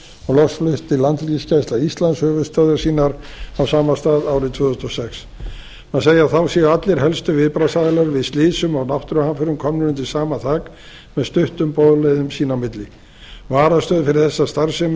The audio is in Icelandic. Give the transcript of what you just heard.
og loks flutti landhelgisgæsla íslands höfuðstöðvar sínar á sama stað árið tvö þúsund og sex og má segja að þá séu allir helstu viðbragðsaðilar við slysum og náttúruhamförum komnir undir sama þak með stuttum boðleiðum sín á milli varastöð fyrir þessa starfsemi